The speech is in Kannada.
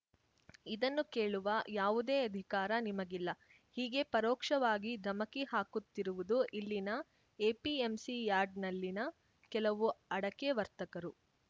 ಇದನ್ನು ಕೇಳುವ ಯಾವುದೇ ಅಧಿಕಾರ ನಿಮಗಿಲ್ಲ ಹೀಗೆ ಪರೋಕ್ಷವಾಗಿ ಧಮಕಿ ಹಾಕುತ್ತಿರುವುದು ಇಲ್ಲಿನ ಎಪಿಎಂಸಿ ಯಾರ್ಡ್‌ನಲ್ಲಿನ ಕೆಲವು ಅಡಕೆ ವರ್ತಕರು